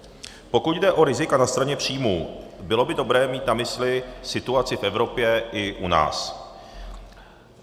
Pokud jde o rizika na straně příjmů, bylo by dobré mít na mysli situaci v Evropě i u nás.